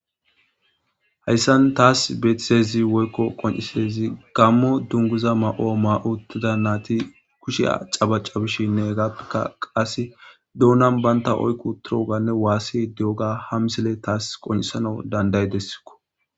hayssan taas beetisezi woykko qoncisezi gammo dunguza ma7o maa7uttida naati kusheya cabaca bishinne hegappeka qase duunan banta oykko turooganne waassi de7oga ha misele taas qoncisanau danday dessikko